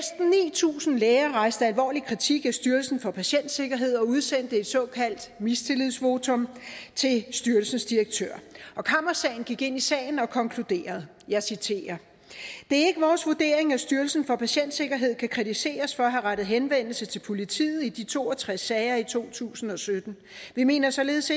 tusind læger rejste alvorlig kritik af styrelsen for patientsikkerhed og udsendte et såkaldt mistillidsvotum til styrelsens direktør og kammeradvokaten gik ind i sagen og konkluderede jeg citerer det er ikke vores vurdering at styrelsen for patientsikkerhed kan kritiseres for at have rettet henvendelse til politiet i de to og tres sager i to tusind og sytten vi mener således